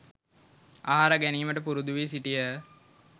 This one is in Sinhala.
ආහාර ගැනීමට පුරුදු වී සිටියහ.